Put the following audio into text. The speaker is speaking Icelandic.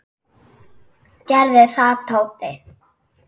Gerðu það, Tóti.